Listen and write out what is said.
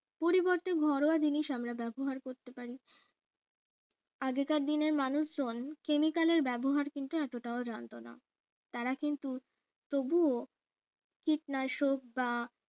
পরিবর্তে ঘরোয়া জিনিস আমরা ব্যবহার করতে পারি আগেকার দিনের মানুষজন chemical এর ব্যবহার কিন্তু এতটাও জানতো না তারা কিন্তু তবুও কীটনাশক বা